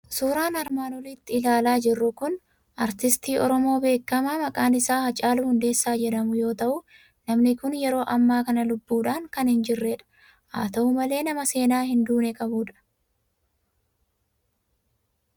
Suuraan armaan olitti ilaalaa jirru kun artistii Oromoo beekamaa maqaan isaa Haacaaluu Hundeessaa jedhamu yoo ta'u, namni kun yeroo ammaa kana lubbuudhaan kan hin jirredha. Haa ta'u malee, nama seenaa hin duune qabudha.